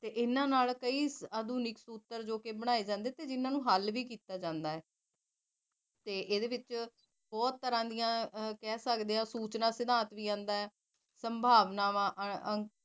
ਇਹਨਾ ਨਾਲ ਕਈ ਆਧੁਨਿਕ ਸੂਤਰ ਬਣਾਏ ਜਾਂਦੇ ਜੋ ਕਿ ਹਾਲੇ ਵੀ ਕੀਤਾ ਜਾਂਦਾ ਇਹਦੇ ਵਿੱਚ ਬਹੁਤ ਤਰਾ ਦੀਆਂ ਸੂਚਨਾ ਸਿਧਾਂਤ ਵੀ ਆਂਦਾ ਸੰਭਾਵਨਾਵਾਂ